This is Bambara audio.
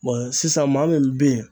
Bɔn sisan maa min be yen